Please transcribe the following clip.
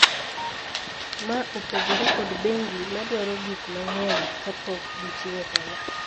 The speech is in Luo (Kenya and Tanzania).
Ma opogore kod bengi ma dwaro gik mang'eny kapok gichiwo hola